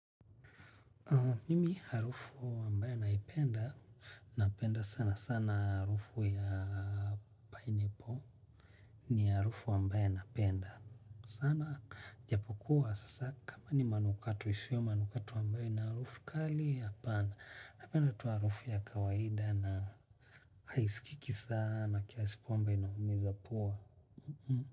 Mimi harufu wambaye naipenda, napenda sana sana harufu ya pineapple ni harufu wambaya napenda sana japokuwa sasa kama ni manukatu ishweo manukatu wambayo na harufu kali hapana. Napenda tu harufu ya kawaida na haiskiki sana kiasi kwamba inaumiza pua.